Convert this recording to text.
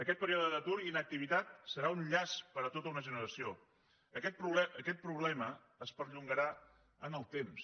aquest període d’atur i inactivitat serà un llast per a tota una generació aquest problema es perllongarà en el temps